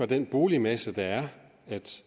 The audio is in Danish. den boligmasse der er